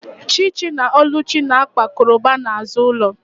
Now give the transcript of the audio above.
Chichi na oluchi na-akpa koroba n’azụ ụlọ